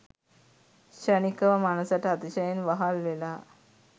ක්ෂණිකව මනසට අතිශයින් වහල් වෙලා